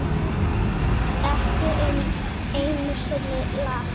Ekki einu sinni Lat.